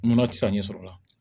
Nɔnɔ tɛ se ka ɲɛsɔrɔ o la